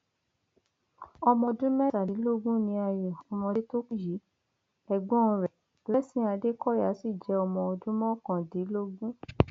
um aláròye gbọ pé méje um nínú àwọn mẹtàdínlógún ọhún ló jẹ àwọn tó ti bá a ṣiṣẹ tẹlẹ ṣiṣẹ tẹlẹ